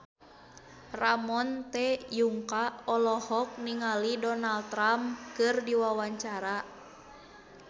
Ramon T. Yungka olohok ningali Donald Trump keur diwawancara